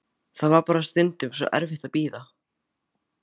Það var bara stundum svo erfitt að bíða.